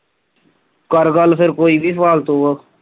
ਕਰ ਗੱਲ ਫੇਰ ਕੋਈ ਵੀ ਫਾਲਤੂ।